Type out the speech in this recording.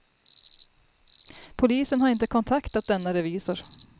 Polisen har inte kontaktat denna revisor.